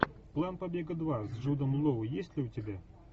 план побега два с джудом лоу есть ли у тебя